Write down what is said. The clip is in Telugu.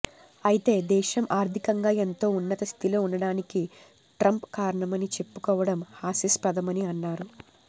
అయితే దేశం ఆర్థికంగా ఎంతో ఉన్నత స్థితిలో ఉండటానికి ట్రంప్ కారణమని చెప్పుకోవడం హాస్యాస్పదమని అన్నారు